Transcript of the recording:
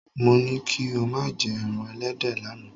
Mo ní kí o má jẹ́ ẹran ẹlẹ́dẹ̀ lánàá.